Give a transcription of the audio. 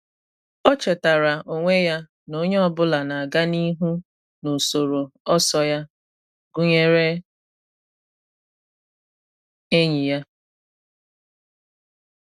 O chetara onwe ya na onye ọ bụla Na-aga n’ihu n'usoro ọsọ ya, gụnyere enyi ya